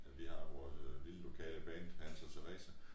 Ja vi har jo vores lille lokale band Hans og Teresa